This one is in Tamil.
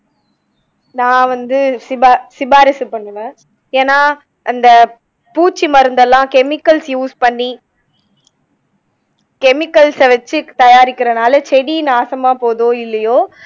நா வந்து சிபாசிபாரிசு பண்ணுவேன் ஏனா அந்த பூச்சிமருந்தெல்லாம் chemicals use பண்ணி chemicals அ வச்சு தயாரிக்கிறதுனால செடி நாசமா போகுதோ இல்லயோ